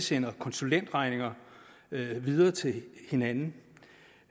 sende konsulentregninger videre til hinanden